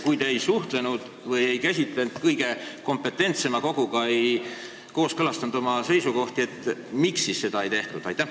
Kui te ei suhelnud ega kooskõlastanud oma seisukohti kõige kompetentsema koguga, siis miks seda ei tehtud?